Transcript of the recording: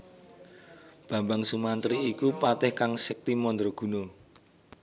Bambang Sumantri iku patih kang sekti mandra guna